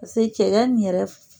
Pase cɛkɛ nin yɛrɛ